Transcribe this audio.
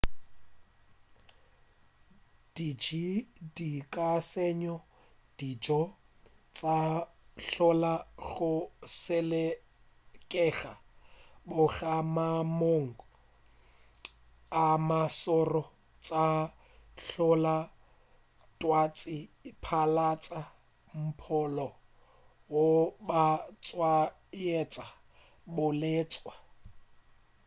diji di ka senya dijo tša hlola go selekega goba maemong a mašoro tša hlola twatši phatlalatša mpholo goba tshwaetša bolwetši